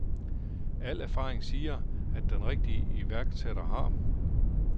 Al erfaring siger, at den rigtige iværksætter har